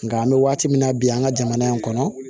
Nka an bɛ waati min na bi an ka jamana in kɔnɔ